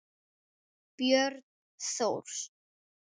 Björn Thors.